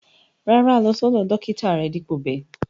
Rárá, lọ̀ sọdọ̀ dọkítà rè dípo bè.